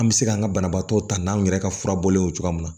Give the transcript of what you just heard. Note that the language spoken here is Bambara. An bɛ se k'an ka banabaatɔ ta n'anw yɛrɛ ka furabɔlen ye cogoya mun na